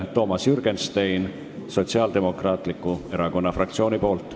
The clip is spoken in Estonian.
Toomas Jürgenstein Sotsiaaldemokraatliku Erakonna fraktsiooni nimel.